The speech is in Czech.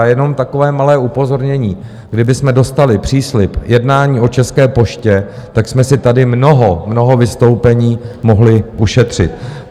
A jenom takové malé upozornění: kdybychom dostali příslib jednání o České poště, tak jsme si tady mnoho, mnoho vystoupení mohli ušetřit.